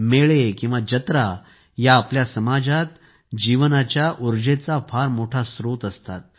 मेळे किंवा जत्रा या आपल्या समाजात जीवनाच्या उर्जेचा फार मोठा स्त्रोत असतात